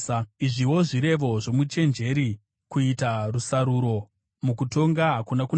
Izviwo zvirevo zvomuchenjeri: Kuita rusaruro mukutonga hakuna kunaka: